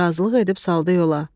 Razılıq edib saldı yola.